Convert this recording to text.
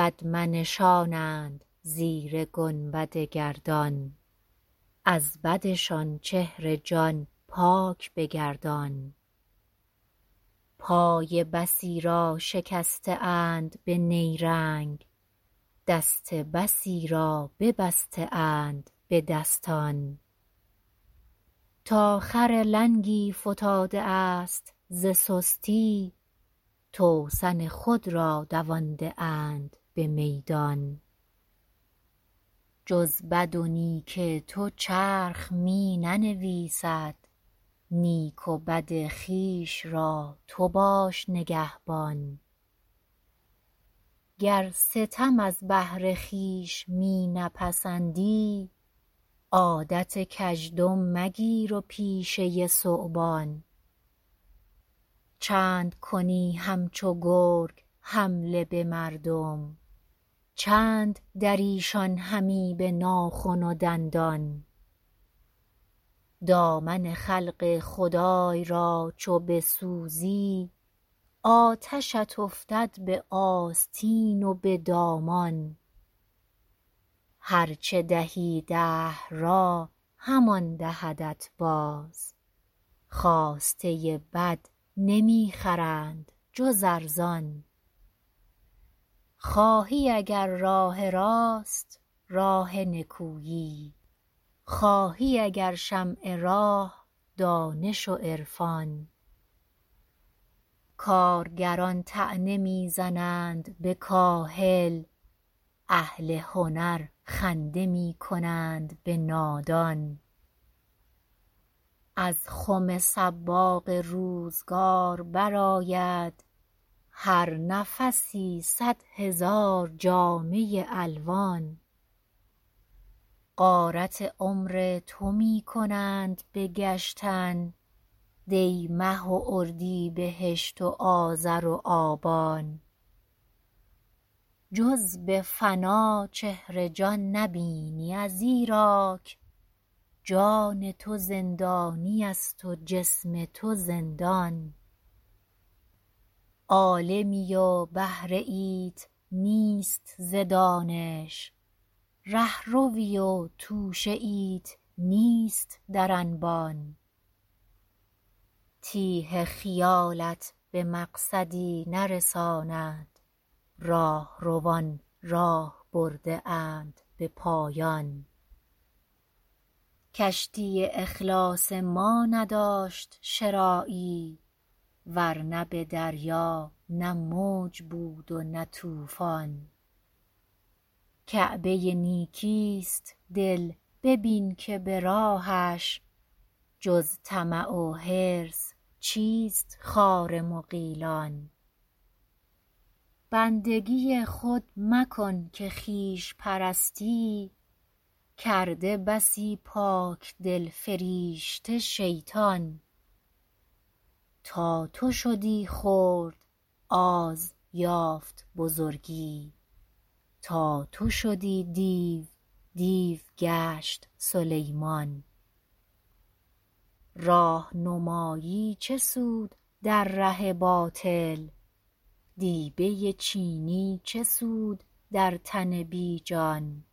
بد منشانند زیر گنبد گردان از بدشان چهر جان پاک بگردان پای بسی را شکسته اند به نیرنگ دست بسی را ببسته اند به دستان تا خر لنگی فتاده است ز سستی توسن خود را دوانده اند بمیدان جز بدو نیک تو چرخ می ننویسد نیک و بد خویش را تو باش نگهبان گر ستم از بهر خویش می نپسندی عادت کژدم مگیر و پیشه ثعبان چندکنی همچو گرگ حمله بمردم چند دریشان همی بناخن و دندان دامن خلق خدای را چو بسوزی آتشت افتد به آستین و به دامان هر چه دهی دهر را همان دهدت باز خواسته بد نمیخرند جز ارزان خواهی اگر راه راست راه نکویی خواهی اگر شمع راه دانش و عرفان کارگران طعنه میزنند به کاهل اهل هنر خنده میکنند به نادان از خم صباغ روزگار برآید هر نفسی صد هزار جامه الوان غارت عمر تو میکنند به گشتن دی مه و اردیبهشت و آذر و آبان جز بفنا چهر جان نبینی ازیراک جان تو زندانیست و جسم تو زندان عالمی و بهره ایت نیست ز دانش رهروی و توشه ایت نیست در انبان تیه خیالت به مقصدی نرساند راهروان راه برده اند به پایان کشتی اخلاص ما نداشت شراعی ور نه بدریا نه موج بود و نه طوفان کعبه نیکی است دل ببین که براهش جز طمع و حرص چیست خار مغیلان بندگی خود مکن که خویش پرستی کرده بسی پاکدل فریشته شیطان تا تو شدی خرد آز یافت بزرگی تا تو شدی دیو دیو گشت سلیمان راهنمایی چه سود در ره باطل دیبه چینی چه سود در تن بیجان